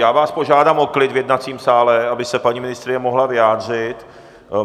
Já vás požádám o klid v jednacím sále, aby se paní ministryně mohla vyjádřit.